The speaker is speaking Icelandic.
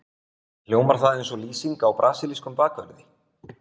Hljómar það eins og lýsing á brasilískum bakverði?